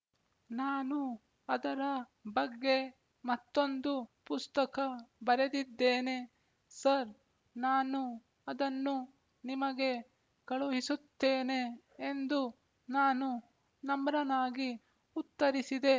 ನಾನು ಅದರ ಬಗ್ಗೆ ಮತ್ತೊಂದು ಪುಸ್ತಕ ಬರೆದಿದ್ದೇನೆ ಸರ್ ನಾನು ಅದನ್ನು ನಿಮಗೆ ಕಳುಹಿಸುತ್ತೇನೆ ಎಂದು ನಾನು ನಮ್ರನಾಗಿ ಉತ್ತರಿಸಿದೆ